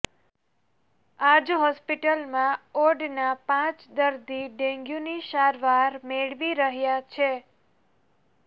આજ હોસ્પિટલમાં ઓડના પાંચ દર્દી ડેન્ગ્યૂની સારવાર મેળવી રહ્યા છે